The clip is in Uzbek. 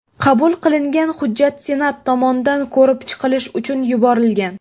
Qabul qilingan hujjat Senat tomonidan ko‘rib chiqilishi uchun yuborilgan.